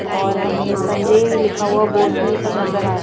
और हमें संजय लिखा हुआ बोर्ड भी नजर आ रहा है।